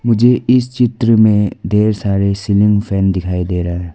मुझे इस चित्र में ढेर सारे सीलिंग फैन दिखाई दे रहे --